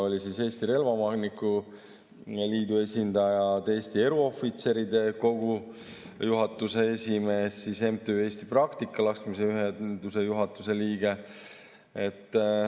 Kohal olid Eesti Relvaomanike Liidu esindajad, Eesti Eruohvitseride Kogu juhatuse esimees, siis MTÜ Eesti Practical-laskmise Ühingu juhatuse liige.